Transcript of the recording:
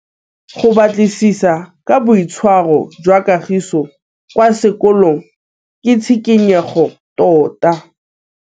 Go batlisisa ka boitshwaro jwa Kagiso kwa sekolong ke tshikinyêgô tota.